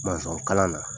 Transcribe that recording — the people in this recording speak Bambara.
kalan na